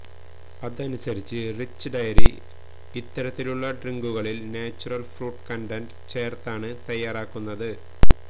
അതനുസരിച്ച് rich dairy ഇത്തരത്തിലുള്ള ഡ്രിങ്കുകളില് നാച്ചുറല് ഫ്രൂട്ട് കണ്ടന്റ് ചേര്ത്താണ് തയാറാക്കുന്നത്